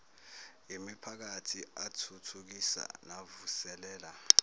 yimiphakathi athuthukisa navuselela